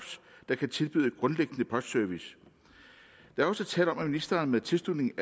der kan tilbyde grundlæggende postservice der er også tale om at ministeren med tilslutning